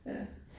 Ja